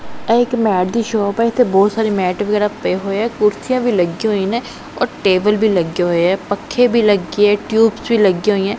ਇਹ ਇੱਕ ਮੈਟ ਦੀ ਸ਼ੌਪ ਐ ਇੱਥੇ ਬਹੁਤ ਸਾਰੇ ਮੈਟ ਵਗੈਰਾ ਪਏ ਹੋਏ ਐ ਕੁਰਸੀਆਂ ਵੀ ਲੱਗੀਆਂ ਹੋਈਆਂ ਨੇ ਔਰ ਟੇਬਲ ਵੀ ਲੱਗੇ ਹੋਏ ਐ ਪੱਖੇ ਭੀ ਲੱਗੇ ਐ ਟਿਊਬਸ ਵੀ ਲੱਗਿਆਂ ਹੋਈਐਂ।